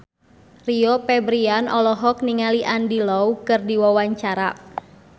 Rio Febrian olohok ningali Andy Lau keur diwawancara